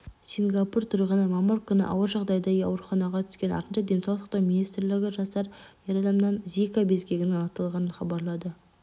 сингапур тұрғыны мамыр күні ауыр жағдайда ауруханаға түскен артынша денсаулық сақтау министрлігі жасар ер адамнан зика безгегінің анықталғанын хабарлады